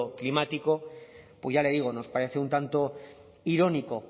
climático ya le digo nos parece un tanto irónico